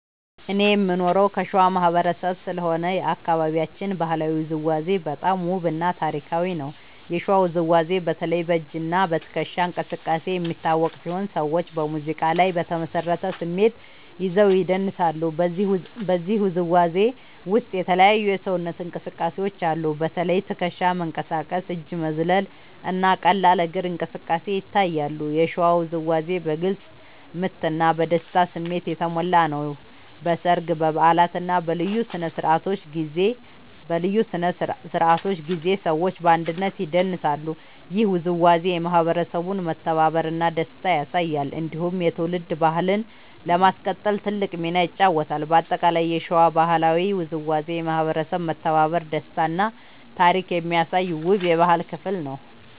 እኔ የምኖረው ከሸዋ ማህበረሰብ ስለሆነ የአካባቢያችን ባህላዊ ውዝዋዜ በጣም ውብ እና ታሪካዊ ነው። የሸዋ ውዝዋዜ በተለይ በ“እጅ እና ትከሻ እንቅስቃሴ” የሚታወቅ ሲሆን ሰዎች በሙዚቃ ላይ በተመሳሳይ ስሜት ይዘው ይደንሳሉ። በዚህ ውዝዋዜ ውስጥ የተለያዩ የሰውነት እንቅስቃሴዎች አሉ። በተለይ ትከሻ መንቀሳቀስ፣ እጅ መዝለል እና ቀላል እግር እንቅስቃሴ ይታያሉ። የሸዋ ውዝዋዜ በግልጽ ምት እና በደስታ ስሜት የተሞላ ነው። በሰርግ፣ በበዓላት እና በልዩ ስነ-ስርዓቶች ጊዜ ሰዎች በአንድነት ይደንሳሉ። ይህ ውዝዋዜ የማህበረሰቡን መተባበር እና ደስታ ያሳያል። እንዲሁም የትውልድ ባህልን ለማስቀጠል ትልቅ ሚና ይጫወታል። በአጠቃላይ የሸዋ ባህላዊ ውዝዋዜ የማህበረሰብ መተባበር፣ ደስታ እና ታሪክ የሚያሳይ ውብ የባህል ክፍል ነው።